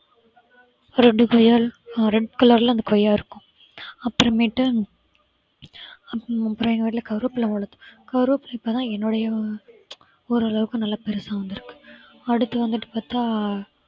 ரெண்டு கொய்யாவில அஹ் red color ல அந்த கொய்யா இருக்கும் அப்புறமேட்டு அப்புறம் எங்க வீட்ல கருவேப்பிலை வளர்த்தோம் கருவேப்பிலை இப்பதான் என்னுடைய ஓரளவுக்கு நல்ல பெருசா வந்திருக்கு அடுத்து வந்துட்டு பார்த்தா